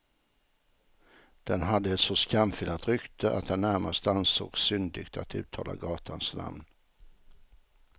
Den hade ett så skamfilat rykte att det närmast ansågs syndigt att uttala gatans namn.